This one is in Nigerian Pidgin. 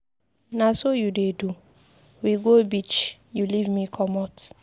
Na so you dey do, we go beach, you leave me comot.